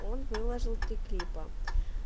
он выложил три клипа